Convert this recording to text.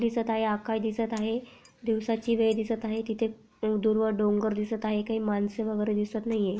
दिसत आहे आकाश दिसत आहे दिवसाची वेळ दिसत आहे तिथे दूरवर डोंगर दिसत आहे काही माणस वगैरे दिसत नाहीये.